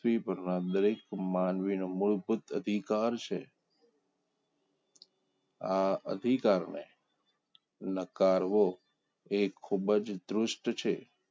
ધરતી પરના દરેક માનવીનું મૂળભૂત અધિકાર છે આ અધિકારને નકારો એ ખુબ જ દુષ્ટ છે